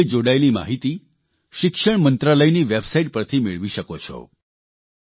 આ વિષે જોડાયેલી માહીતી શિક્ષણમંત્રાલયની વેબસાઇટ પરથી મેળવી શકો છો